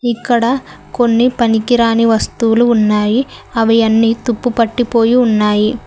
ఇక్కడ కొన్ని పనికిరాని వస్తువులు ఉన్నాయి. అవి అన్ని తుప్పు పట్టిపోయి ఉన్నాయి.